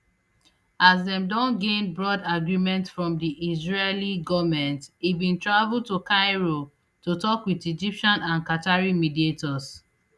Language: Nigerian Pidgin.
as dem don gain broad agreement from di israeli goment e bin travel to cairo to tok wit egyptian and qatari mediators